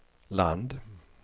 land